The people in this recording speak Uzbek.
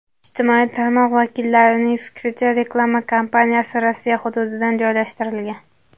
Ijtimoiy tarmoq vakillarining fikricha, reklama kampaniyasi Rossiya hududidan joylashtirilgan.